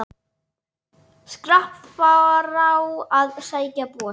Skrapp frá að sækja bor.